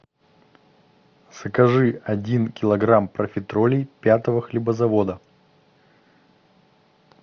закажи один килограмм профитролей пятого хлебозавода